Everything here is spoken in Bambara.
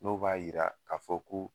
Dɔw b'a yira ka fɔ ko